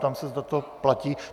Ptám se, zda to platí.